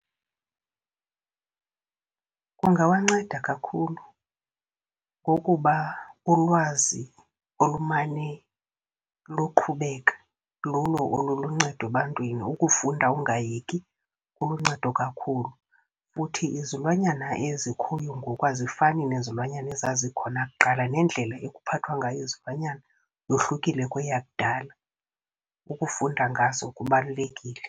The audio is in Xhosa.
Kungawanceda kakhulu ngokuba ulwazi olumane luqhubeka lulo oluluncedo ebantwini. Ukufunda ungayiyeki kuluncedo kakhulu, futhi izilwanyana ezikhoyo ngoku azifani nezilwanyana ezazikhona kuqala, nendlela ekuphathwa ngayo izilwanyana yohlukile kweyakudala, ukufunda ngazo kubalulekile.